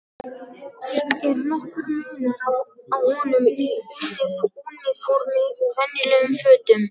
Er nokkur munur á honum í úniformi og venjulegum fötum?